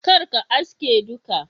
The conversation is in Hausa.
kar ka aske duka.